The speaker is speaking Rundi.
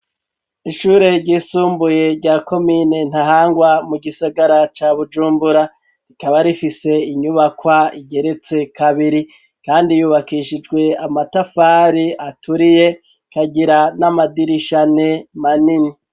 Ishure ry'isumbuye rya komine Ntahangwa mu gisagara ca Bujumbura rikaba rifise inyubakwa igeretse kabiri kandi yubakishijwe amatafari aturiye ikagira n'amadirisha ane manini.